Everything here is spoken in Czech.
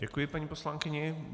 Děkuji paní poslankyni.